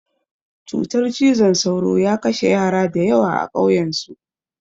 Cutar cizon sauro ya kashe yara da yawa a ƙauyan su